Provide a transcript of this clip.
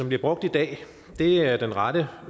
bliver brugt i dag er den rette